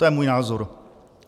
To je můj názor.